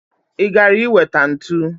I gara i weta ntu?